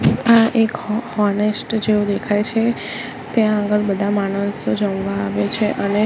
આ એક હો હોનેસ્ટ જેવું દેખાય છે ત્યાં આગળ બધા માણસો જમવા આવે છે અને--